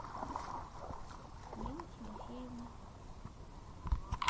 нины тимофеевны